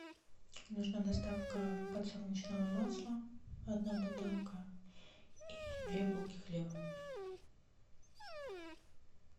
нужна доставка подсолнечного масла одна бутылка и две булки хлеба